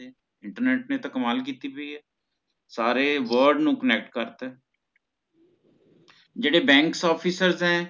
internet ਨੇ ਤਾ ਕਮਾਲ ਕੀਤੀ ਹੋਈ ਹੈ ਸਾਰੇ word ਨੂ connect ਕਰਤਾ ਜੇੜੇ banks officers ਹੈ